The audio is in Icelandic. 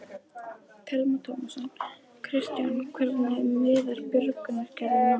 Telma Tómasson: Kristján, hvernig miðar björgunaraðgerðum núna?